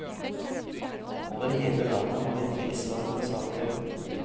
Over hele landet har vi tilsvarende saker.